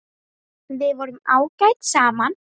Við vorum ágæt saman.